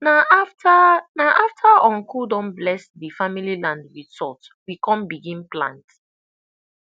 na after na after uncle don bless the family land with salt we come begin plant